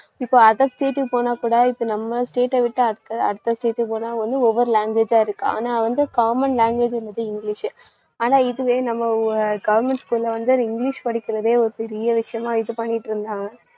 இப்ப other state க்கு போனாகூட இப்ப நம்ம state அ விட்டு அ~ அடுத்த state க்கு போனா வந்து, ஒவ்வொரு language ஆ இருக்கு. ஆனா வந்து common language ன்றது இங்கிலிஷ். ஆனா இதுவே நம்ம ஊ~ government school ல வந்து இங்கிலிஷ் படிக்கறதே ஒரு பெரிய விஷயமா இது பண்ணிட்டு இருந்தாங்க.